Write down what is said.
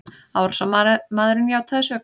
Árásarmaðurinn játaði sök